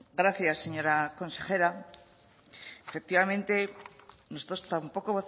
gracias señora consejera efectivamente nosotros tampoco